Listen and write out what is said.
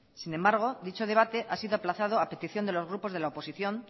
sin embargo dicho debate ha sido aplazado a petición de los grupos de la oposición